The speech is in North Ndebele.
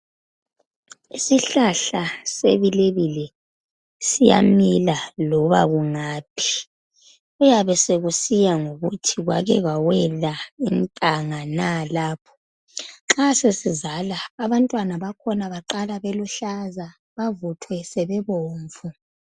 Isihlahla sebilebile, siyamila loba kungaphi. Kuyabe sekusiya ngokuthi kwake akwawela intanga na lapho. Nxa sesizala, abantwana bakhona baqala beluhlaza. Bacine sebebomvu.